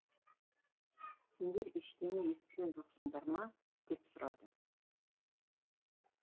сендер ештеңе естіген жоқсыңдар ма деп сұрады